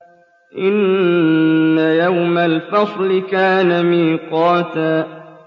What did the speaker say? إِنَّ يَوْمَ الْفَصْلِ كَانَ مِيقَاتًا